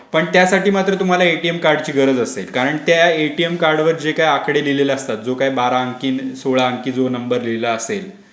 पण त्यासाठी मात्र तुम्हाला एटीएम कार्ड ची गरज असेल कारण ते एटीएम कार्ड वर जे आकडे दिलेले असतात जो काय बारा अंकी सोळा अंकी नंबर दिला असेल